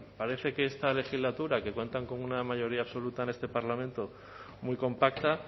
parece que esta legislatura que cuentan con una mayoría absoluta en este parlamento muy compacta